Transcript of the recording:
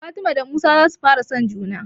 Fatima da Musa za su fara son juna